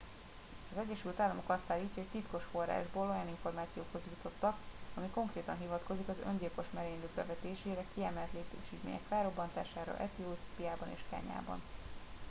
"az egyesült államok azt állítja hogy titkos forrásból olyan információhoz jutottak ami konkrétan hivatkozik az öngyilkos merénylők bevetésére "kiemelt létesítmények" felrobbantására etiópiában és kenyában.